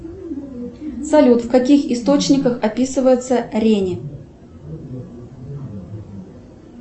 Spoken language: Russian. салют в каких источниках описывается рени